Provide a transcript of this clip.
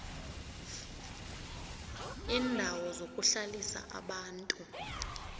iindawo zokuhlalisa abantu